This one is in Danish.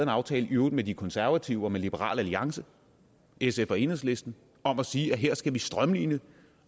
aftale i øvrigt med de konservative og med liberal alliance sf og enhedslisten om at sige at her skal vi strømline det